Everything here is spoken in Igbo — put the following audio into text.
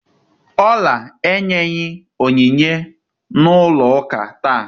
Ola enyeghi onyinye ya na ulo uka taa.